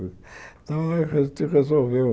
Então, a gente resolveu.